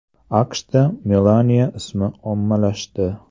AQShda Melaniya ismi ommalashdi.